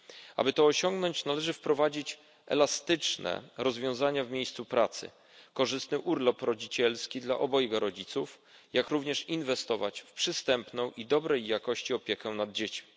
Aby to osiągnąć, należy wprowadzić elastyczne rozwiązania w miejscu pracy, korzystny urlop rodzicielski dla obojga rodziców, jak również inwestować w przystępną i dobrej jakości opiekę nad dziećmi.